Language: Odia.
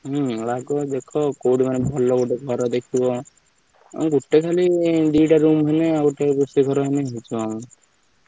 ହୁଁ ଲାଗ ଦେଖ କୋଉଠି କଣ ଭଲ ଘର ଦେଖିବ ଗୋଟେ ଖାଲି ଦିଟା room ହେଇଗଲେ ଗୋଟେ ରୋଷେଇଘର ଆମର ହେଇଯିବ।